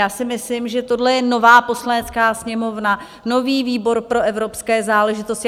Já si myslím, že tohle je nová Poslanecká sněmovna, nový výbor pro evropské záležitosti.